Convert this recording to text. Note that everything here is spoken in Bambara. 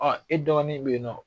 e dɔgɔnin bɛ ye nɔ.